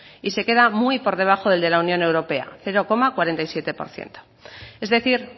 y se queda muy por debajo del de la unión europea cero coma cuarenta y siete por ciento es decir